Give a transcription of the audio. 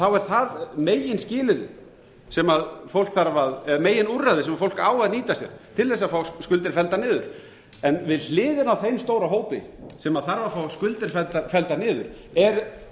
þá er það meginskilyrðið sem fólk þarf að eða meginúrræðið sem fólk á að nýta sér til þess að fá skuldir felldar niður við hliðina á þeim stóra hópi sem þarf að fá skuldir felldar niður er